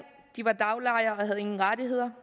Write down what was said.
de var daglejere og havde ingen rettigheder